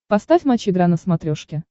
поставь матч игра на смотрешке